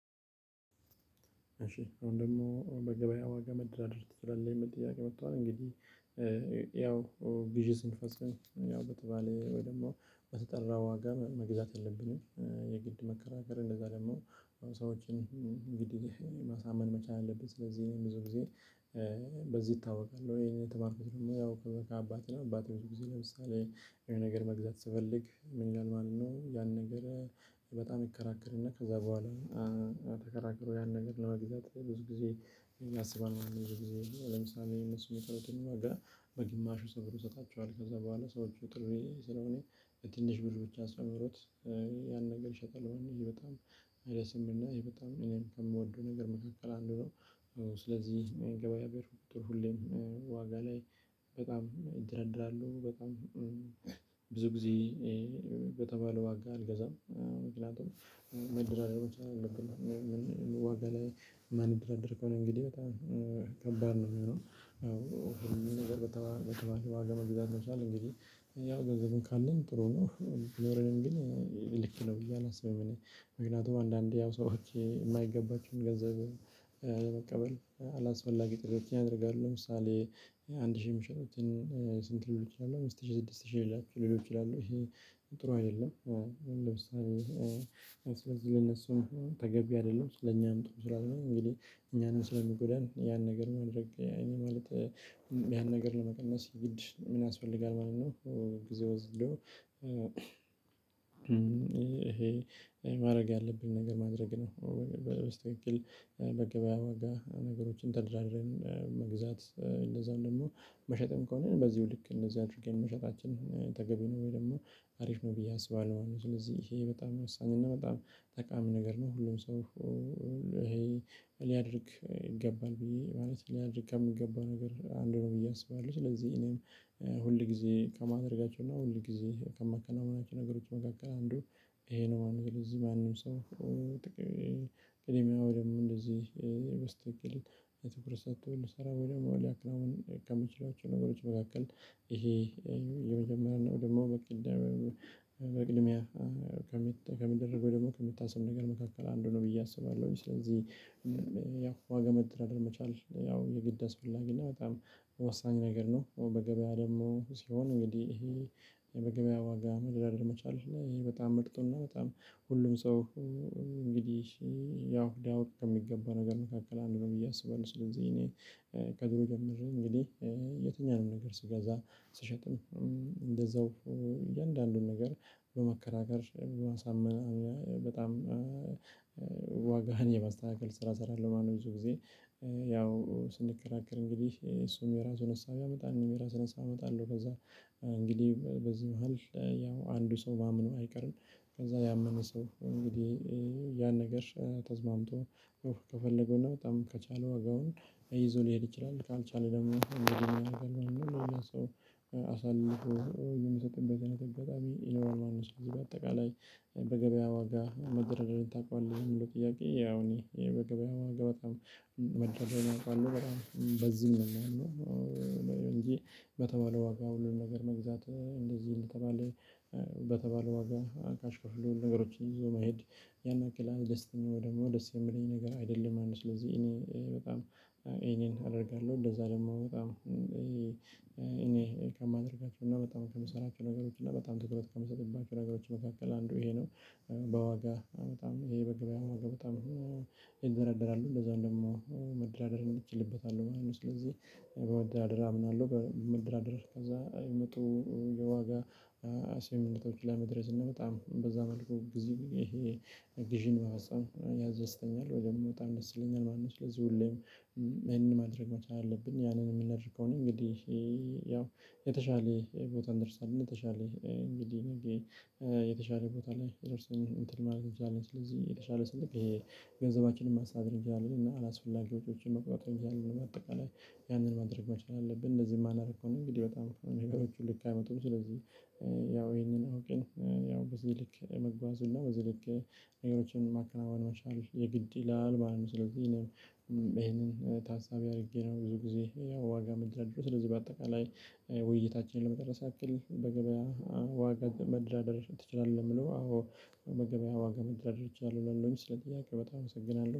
እሺ አሁን ደግሞ በገበያ ዋጋ መደራደር ትችላለህ የሚል ጥያቄ መጥቷል እንግዲህ ያው ግዥ ስንፈጽም ያው በተባለ ወይ ደግሞ በተጠራ ዋጋ መግዛት የለብንም። የግድ መከራከር እንደዛ ደግሞ ሰዎችን ግድ ማሳመን መቻል አለብን። ስለዚህ ብዙ ጊዜ በዚህ እታወቃለሁ። ወይ የተባበሩት የምናውቀው ከአባቴ አባቴ ብዙ ጊዜ ለምሳሌ ይሄን ነገር መግዛት ስፈልግ ምን ይላል ማለት ነው። ያን ነገር በጣም ይከራከርና ከዛ በኋላ ተከራክሮ ያን ነገር ለመግዛት ብዙ ጊዜ ያሰባል። ምንድነው የሚለው ለምሳሌ የምትሰማው ቀለብን ነው ጋር በግማሹ ስብር ይሰጣቸዋል። ከዛ በኋላ ሰዎች ጥሪ ስለሆነ በትንሽ ብር ብቻ አስጨምሮት ያን ነገር ይሸጣል። ይሄ በጣም አይደለም እና ይሄ በጣም እኔም ከምወደው ነገር መካከል አንዱ ነው። ስለዚህ ገበያ ብር ሁሌም ዋጋ ላይ በጣም ይደረደራሉ በጣም ብዙ ጊዜ በተባለው አጋ አልገዛም። ምክንያቱም መድረሪያዎች አሉብናል ዋጋ ላይ ማንደረደር ከሆነ እንግዲህ በጣም ከባድ ነው የሚሆነው። ነገር በተባለ ዋጋ መብዛት መስራት እንግዲህ ያው ገንዘብን ካለን ጥሩ ነው ቢኖረንም ግን ልክ ነው ብዬ አላስብም። ምክንያቱም አንዳንዴ ያው ሰዎች የማይገባቸውን ገንዘብ አላስፈላጊ ጥረት ያደርጋሉ። ለምሳሌ አንድ ሺህ ሚሸጡትን ስንት ልል እችላለሁ አምስት ሺህ ስድስት ሺህ ልል እችላለሁ ጥሩ አይደለም። ለምሳሌ ለነሱም ተገቢ አይደለም ለኛም ጥሩ ስላልሆነ እንግዲህ እኛንም ስለሚጎዳን ያን ነገር ማድረግ ያኔ ማለት ያን ነገር ለመቀነስ ግድ ምን ያስፈልጋል ማለት ነው። ጊዜ ወዝዶ ይሄ ማድረግ ያለብን ነገር ማድረግ ነው። በስተክል በገበያ ዋጋ ነገሮችን ተደራድረን መግዛት። እንደዛው ደግሞ መሸጥም ከሆነ በዚሁ ልክ እንደዚህ አድርጌ መሸጣችን ተገቢ ነው ወይ ደግሞ አሪፍ ነው ብዬ አስባለሁ። ስለዚህ ይሄ በጣም የወሳኝ እና በጣም ጠቃሚ ነገር ነው። ሁሉም ሰው ይሄ ሊያደርግ ይገባል ብዬ ማለት ሊያደርግ ከምገባው ነገር አንድ ነው ብዬ አስባለሁ። ስለዚህ እኔም ሁል ጊዜ ከማደርጋቸው እና ሁል ጊዜ ከመከናወናቸው ነገሮች መካከል አንዱ ይሄ ነው። አንድ ለዚህ ማንም ሰው ጥቅም የሚያወድም እንደዚህ የትኩረት ሰጥቶ ሊሰራ ወይ ደግሞ ሊያከናውን ከሚችላቸው ነገሮች መካከል ይሄ የመጀመሪያ ነው። ደግሞ በቅድሚያ ከሚደረገው ደግሞ ከምታስብ ነገር መካከል አንዱ ነው ብዬ አስባለሁ። ስለዚህ ያው ዋጋ መደራደር መቻል ያው የግድ አስፈላጊ እና በጣም ወሳኝ ነገር ነው። በገበያ ደግሞ ሲሆን እንግዲህ ይሄ በገበያ ዋጋ መደራደር መቻል ይሄ በጣም ምርጦና በጣም ሁሉም ሰው እንግዲህ ያው ወርቅ የሚገባ ነገር መካከል አንዱን ነው። እያሰበሁ ስለዚህ እኔ ቀጥሮ ጀምሮ እንግዲህ የትኛውንም ነገር ስገዛ ስሸጥም እንደዛው እያንዳንዱን ነገር በመከራከር በማሳመን በጣም ዋጋህን የማስተካከል ስራ እሰራለሁ። ማነው ብዙ ጊዜ ያው ስንከራከር እንግዲህ እሱም የራሱን አሳ ቢያመጣ እኔም የራሱን አሳ አመጣለሁ ከዛ እንግዲህ በዚህ መሃል ያው አንዱ ሰው ማመኑ አይቀርም። ከዛ ያመነ ሰው እንግዲህ ያን ነገር ተስማምቶ ከፈለገው እና በጣም ከቻለ ዋጋውን እይዞ ሊሄድ ይችላል። ካልቻለ ደግሞ እንግዲህ አደርጋለሁ አሳልፎ የምትሰጠው በዚህ ነገር በጣም ዩኖር ማንነት ነው። ስለዚህ በአጠቃላይ በገበያ ዋጋ መደረጃዬን ታውቃለህ ሁሉ ጥያቄ ያው እኔ ይሄ በገበያው በጣም መደረግ አውቃለሁ በጣም በዚህም ነው። የሚለው እንጂ በተባለው ዋጋ ሁሉንም ነገር መግዛት እንደዚህ እንደተባለ በተባለው ዋጋ አካሽ ከፍሎ ነገሮችን ይዞ መሄድ ያን ያክል ደስተኛ ወደምኖ ደስ የሚለኝ ነገር አይደለም ማለት ነው። ስለዚህ እኔ በጣም እኔን አደርጋለሁ እንደዛ ደግሞ በጣም እኔ ከማደርጋቸው እና በጣም ከምሰራቸው ነገሮች እና በጣም ትኩረት ከምሰጥባቸው ነገሮች መካከል አንዱ ይሄ ነው። በዋጋ በጣም ይሄ በግብያው ዋጋ በጣም ይዘረደራሉ እንደዛ ደግሞ መደራደር እችልበታለሁ ማለት ነው። ስለዚህ በመደራደር አምናለሁ በውድድር አድርግ ከዛ የሚጡ የዋጋ አሲምነቶች ላይ መድረስ እና በጣም በዛ መልኩ ግዢ። ቪዥን ማህፀን ያዘዝተኛል ወደምወጣ እንደሰለኝ ማንም ስለዚህ ሁሌም ማንም ማድረግ መቻል አለብኝ ያንን የምነርከው ነኝ። እንግዲህ ያው የተሻለ ቦታ እንደርሳለን። የተሻለ እንግዲህ የተሻለ ቦታ ላይ ደርሰኝ እንትን ማለት ትችላለህ? ስለዚህ የተሻለ ስልክ የገንዘባችንን ማሳደር እንጃለን። እና አላስፈላጊ ወጪዎችን መቆጣጠር እንጃለን። ለማጠቃለል ያንን ማድረግ መቻል አለብን እንደዚህ የማናደርገው ነው። እንግዲህ በጣም ነገሮችን ልክ አይመጡም ስለዚህ ያው ይሄንን አውቂን ያው በዚህ ልክ የመግባቱን ነው በዚህ ልክ ነገሮችን ማከናወን መቻል የለም የግድ ይላል ማለት ነው። ስለዚህ ይሄንን ታሳቢ አድርጌ ነው ብዙ ጊዜ ያው ዋጋ ምደራደረው። ስለዚህ በአጠቃላይ ውይይታችንን ለመጠረስ አክል በገበያ ዋጋ መደራደር ትችላለህ? ለምንው አዎ መገበያ ዋጋ መድረሻ አለብኝ ስለጥያቄ በጣም አመሰግናለሁ